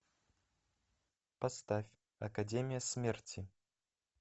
поставь академия смерти